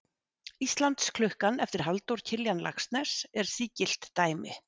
Íslandsklukkan eftir Halldór Kiljan Laxness er sígilt dæmi.